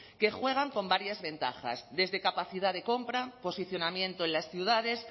que juegan con varias ventajas desde capacidad de compra posicionamiento en las ciudades